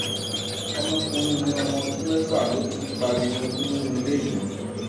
ọmọkùnrin mi ọmọ ọdún méfà ló ti ń pariwo inú rírun lénìí